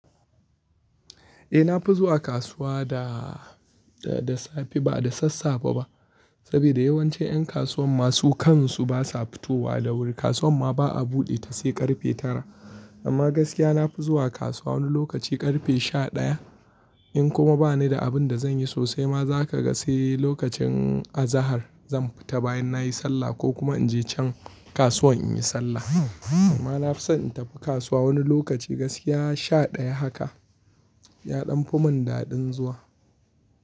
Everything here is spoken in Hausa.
Eh na fi zuwa kasuwa da, da, da safe ba da sassafe ba. Saboda yawanci 'yan kasuwan ma su kansu basa fitowa da wuri. Kasuwan ma ba a buɗe ta sai ƙarfe tara. Amma gaskiya na fi zuwa kasuwa wani lokaci ƙarfe sha ɗaya. In kuma bani da abin da zan yi sosai ma za ka ga sai lokacin azahar zan fita bayan nayi sallah ko kuma in je can kasuwan in yi sallah. Amma na fi son in tafi kasuwa wani lokaci gaskiya sha ɗaya haka. Ya ɗan fi mun daɗin zuwa.